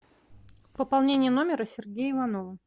пополнение номера сергея иванова